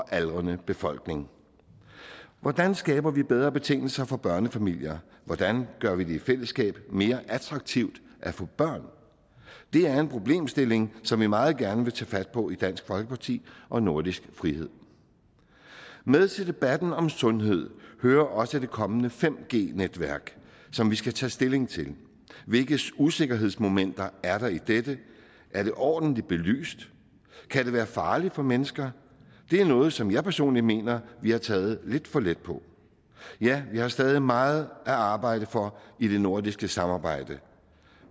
aldrende befolkning hvordan skaber vi bedre betingelser for børnefamilier hvordan gør vi det i fællesskab mere attraktivt at få børn det er en problemstilling som vi meget gerne vil tage fat på i dansk folkeparti og nordisk frihed med til debatten om sundhed hører også det kommende 5g netværk som vi skal tage stilling til hvilke usikkerhedsmomenter er der i dette er det ordentligt belyst kan det være farligt for mennesker det er noget som jeg personligt mener vi har taget lidt for let på ja vi har stadig meget at arbejde for i det nordiske samarbejde